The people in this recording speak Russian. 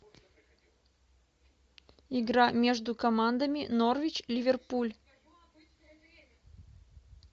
игра между командами норвич ливерпуль